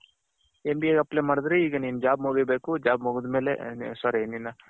MBAಗೆ apply ಮಾಡದ್ರೆ ಈಗ ನಿನ್ job ಮುಗಿಬೇಕು job ಮುಗಿದಮೇಲೆ sorry